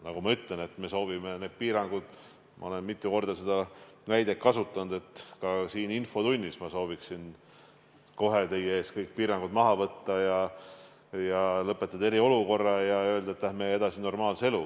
Nagu ma ütlesin ja olen mitu korda seda näidet kasutanud ka siin infotunnis, et ma sooviksin kohe teie ees kõik piirangud maha võtta, lõpetada eriolukorra ja öelda, et läheme edasi normaalse eluga.